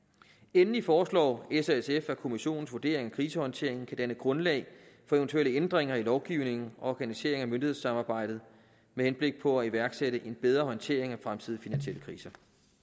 endelig foreslår s og sf at kommissionens vurdering af krisehåndteringen kan danne grundlag for eventuelle ændringer i lovgivningen og organiseringen af myndighedssamarbejdet med henblik på at iværksætte en bedre håndtering af fremtidige finansielle kriser